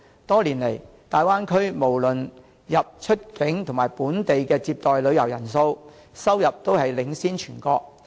多年來，大灣區無論出入境及本地接待的旅遊人數、收入均領先全國。